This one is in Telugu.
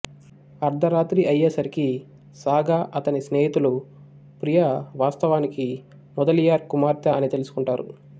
అర్ధరాత్రి అయ్యే సరికి సాగా అతని స్నేహితులు ప్రియా వాస్తవానికి ముదలియార్ కుమార్తె అని తెలుసుకుంటారు